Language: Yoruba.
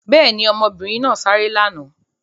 Bẹ́ẹ̀ ni, ọmọbìnrin náà sáré lánàá.